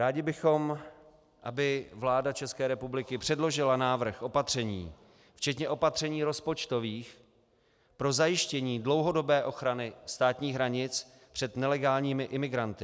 Rádi bychom, aby vláda České republiky předložila návrh opatření včetně opatření rozpočtových pro zajištění dlouhodobé ochrany státních hranic před nelegálními imigranty.